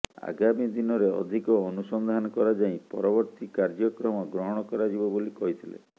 ଆଗାମୀଦିନରେ ଅଧିକ ଅନୁସନ୍ଧାନ କରାଯାଇ ପରବର୍ତ୍ତୀ କାର୍ଯ୍ୟକ୍ରମ ଗ୍ରହଣ କରାଯିବ ବୋଲି କହିଥିଲେ